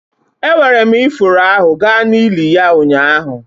Ewere m ifuru ahụ gaa n'ili ya ụnyaahụ.